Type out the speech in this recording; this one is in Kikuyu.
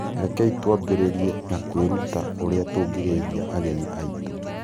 Rekei twambĩrĩrie na kwĩruta ũrĩa tũngĩgeithia ageni aitũ.